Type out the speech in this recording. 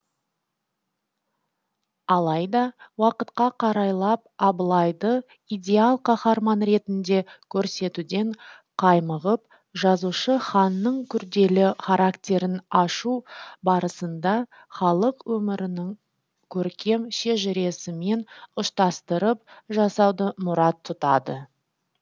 алайда уақытқа қарайлап абылайды идеал қаһарман ретінде көрсетуден қаймығып жазушы ханның күрделі характерін ашу барысында халық өмірінің көркем шежіресімен ұштастырып жасауды мұрат тұтады